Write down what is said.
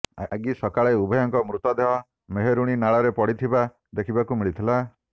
ଆଗି ସକାଳେ ଉଭୟଙ୍କ ମୃତଦେହ ମେହେରୁଣି ନାଳରେ ପଡିଥିବା ଦେଖିବାକୁ ମିଳିଥିଲା